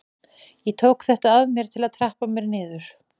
Ég tók þetta að mér til að trappa mér niður.